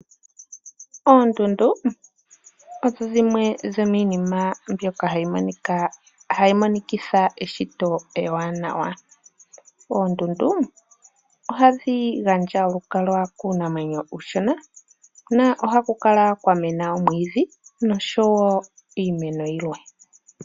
Oondundu odho dhimwe dhomiinima mbyoka hayi monikitha eshito ewanawa. Oondundu ohadhi gandja olukalwa kuunamwenyo uushona, na ohakukala kwa mena omwiidhi noshowo iimeno oyindji.